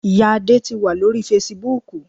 Ìya Adé ti wà lórí Fasibúùkù